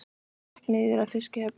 Hann gekk því niður að fiskihöfn.